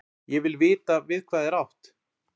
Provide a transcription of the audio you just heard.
Ég vil vita við hvað er átt.